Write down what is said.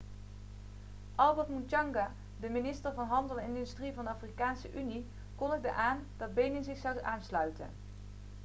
albert muchanga de minister van handel en industrie van de afrikaanse unie kondigde aan dat benin zich zou aansluiten